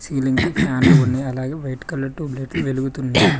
Ceiling కి ఫ్యాన్లు ఉన్నాయ్ అలాగే వైట్ కలర్ టూబ్ లైట్లు వెలుగుతున్నాయి.